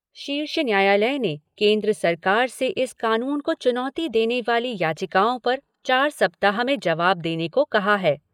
शीर्ष न्यायालय ने केन्द्र सरकार से इस कानून को चुनौती देने वाली याचिकाओं पर चार सप्ताह में जवाब देने को कहा है।